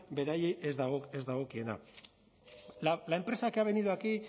beraiei ez dagokiena la empresa que ha venido aquí